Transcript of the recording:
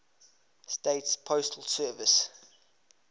states postal service